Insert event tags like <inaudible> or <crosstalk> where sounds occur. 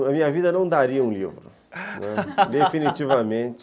A minha vida não daria um livro, <laughs> definitivamente. <laughs>